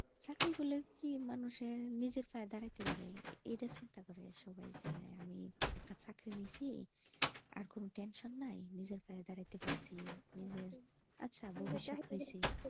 চাকরি করলে কি মানুষ নিজের পায়ে দাঁড়াইতে পারে এটা চিন্তা করে সবাই যে আমি একটা চাকরি নিচ্ছি আর কোনো tension নাই নিজের পায়ে দাঁড়াইতে পারছি নিজের একটা ভবিষৎ হছে।